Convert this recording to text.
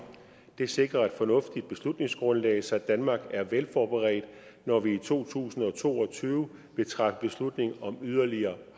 det sikrer et fornuftigt beslutningsgrundlag så danmark er velforberedt når vi i to tusind og to og tyve vil træffe beslutning om yderligere